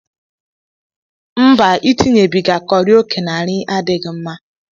Mba, itinyebiga kọri oke na nri adịghị mma.